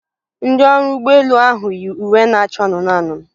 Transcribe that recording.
Ndị ọrụ ụgbọ elu ahụ yi uwe na-acha anụnụ anụnụ